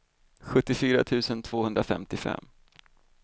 sjuttiofyra tusen tvåhundrafemtiofem